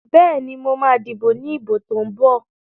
Bẹ́ẹ̀ni, mo ma díbò ní ìbò tó ń bọ̀